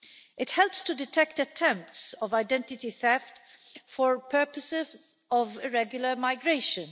It helps to detect attempts at identity theft for purposes of irregular migration.